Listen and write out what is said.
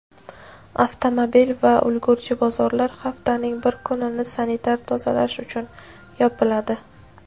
avtomobil va ulgurji bozorlar haftaning bir kunini sanitar-tozalash uchun yopiladi;.